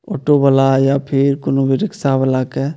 Auto वाला या फिर कोनो भी रिक्सा वाला के।